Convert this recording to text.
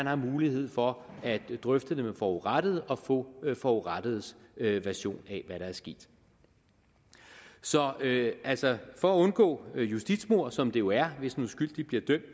er mulighed for at drøfte det med forurettede og få forurettedes version af hvad der er sket så altså for at undgå justitsmord som det jo er hvis en uskyldig bliver dømt